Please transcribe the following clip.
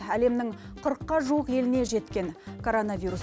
әлемнің қырыққа жуық еліне жеткен коронавирус